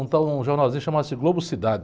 Um tal, um jornalzinho que chamava-se Globo Cidade.